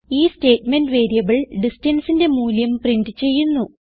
ഈ statement variable distanceന്റെ മൂല്യം പ്രിന്റ് ചെയ്യുന്നു